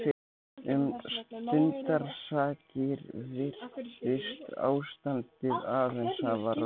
Um stundarsakir virtist ástandið aðeins hafa róast.